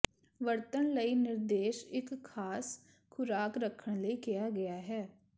ਵਰਤਣ ਲਈ ਨਿਰਦੇਸ਼ ਇੱਕ ਖਾਸ ਖੁਰਾਕ ਰੱਖਣ ਲਈ ਕਿਹਾ ਗਿਆ ਹੈ